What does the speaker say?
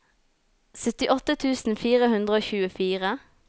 syttiåtte tusen fire hundre og tjuefire